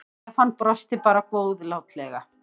Stefán brosti bara góðlátlega.